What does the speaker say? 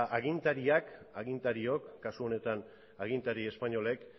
agintariok kasu honetan agintari espainolek